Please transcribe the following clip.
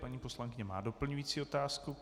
Paní poslankyně má doplňující otázku.